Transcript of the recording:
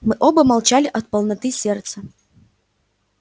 мы оба молчали от полноты сердца